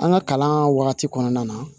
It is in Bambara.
An ka kalan wagati kɔnɔna na